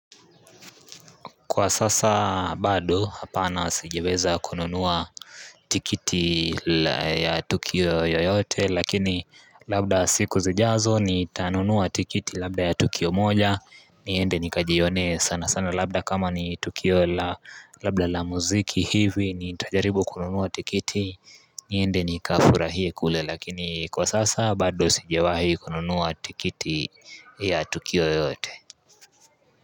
Kwa sasa bado hapana sijaweza kununua tiketi ya tukio yoyote lakini labda siku zijazo ni tanunua tiketi labda ya tukio moja niende nikajione sana sana labda kama ni tukio labda la muziki hivi ni tajaribu kununua tiketi niende nikafurahie kule lakini kwa sasa bado sijawahi kununua tiketi ya tukio yoyote.